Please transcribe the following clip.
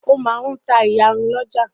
Ó máa ta ìyarun lọ́jà.